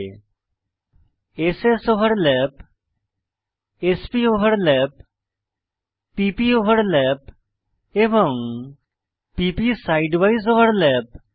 s স্ overlap s প overlap p প ওভারল্যাপ এবং p প side উইসে ওভারল্যাপ